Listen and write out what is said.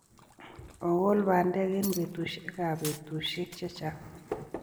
Ogol bandek eng' peetuusyegap peetuusyek che chaang'.